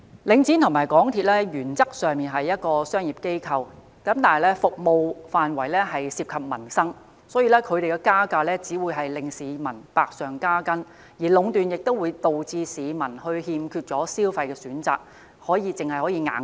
領展和港鐵原則上雖為商業機構，但其服務範圍涉及民生，因此他們加價只會令市民百上加斤；而壟斷亦會導致市民欠缺消費選擇，只能"硬食"。